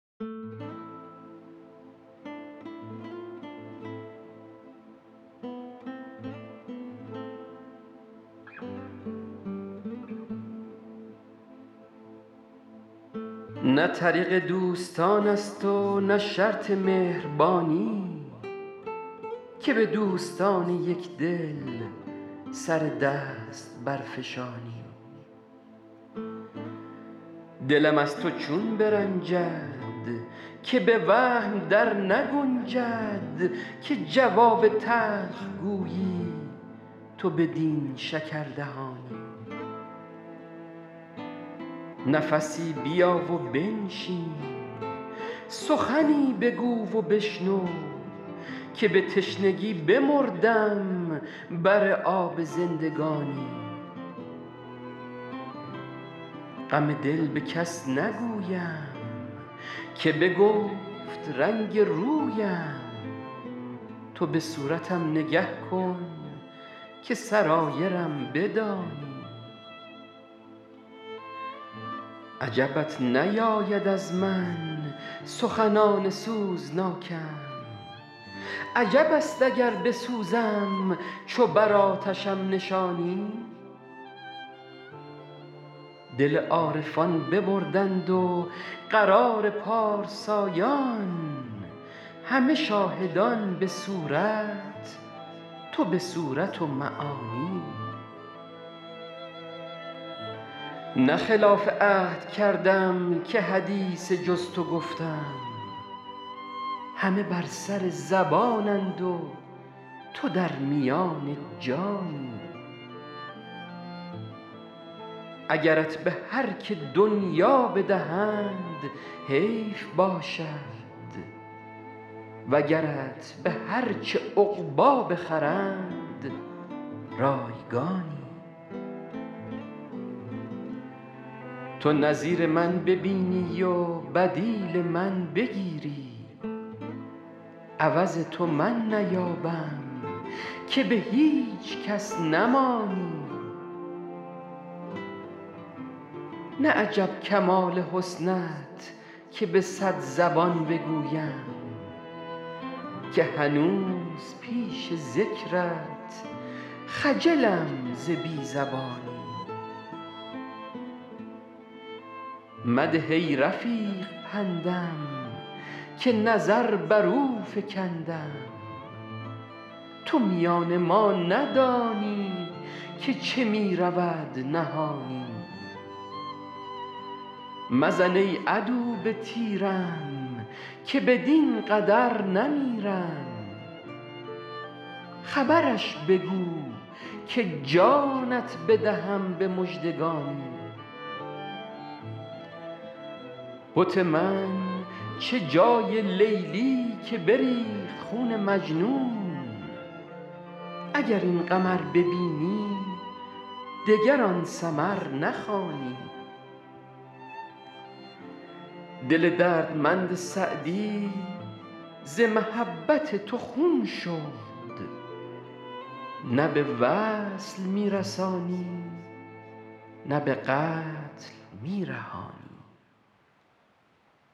نه طریق دوستان است و نه شرط مهربانی که به دوستان یک دل سر دست برفشانی دلم از تو چون برنجد که به وهم در نگنجد که جواب تلخ گویی تو بدین شکردهانی نفسی بیا و بنشین سخنی بگو و بشنو که به تشنگی بمردم بر آب زندگانی غم دل به کس نگویم که بگفت رنگ رویم تو به صورتم نگه کن که سرایرم بدانی عجبت نیاید از من سخنان سوزناکم عجب است اگر بسوزم چو بر آتشم نشانی دل عارفان ببردند و قرار پارسایان همه شاهدان به صورت تو به صورت و معانی نه خلاف عهد کردم که حدیث جز تو گفتم همه بر سر زبانند و تو در میان جانی اگرت به هر که دنیا بدهند حیف باشد وگرت به هر چه عقبی بخرند رایگانی تو نظیر من ببینی و بدیل من بگیری عوض تو من نیابم که به هیچ کس نمانی نه عجب کمال حسنت که به صد زبان بگویم که هنوز پیش ذکرت خجلم ز بی زبانی مده ای رفیق پندم که نظر بر او فکندم تو میان ما ندانی که چه می رود نهانی مزن ای عدو به تیرم که بدین قدر نمیرم خبرش بگو که جانت بدهم به مژدگانی بت من چه جای لیلی که بریخت خون مجنون اگر این قمر ببینی دگر آن سمر نخوانی دل دردمند سعدی ز محبت تو خون شد نه به وصل می رسانی نه به قتل می رهانی